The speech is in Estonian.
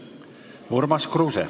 Urmas Kruuse.